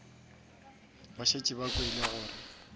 ba šetše ba kwele gore